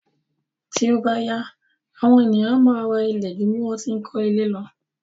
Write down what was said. Tí ó bá yá, àwọn ènìyàn a máa ra ilé ju bí wọ́n ṣe ń kó ilé lo.